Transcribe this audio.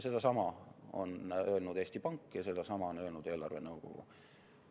Sedasama on öelnud Eesti Pank ja sedasama on öelnud eelarvenõukogu.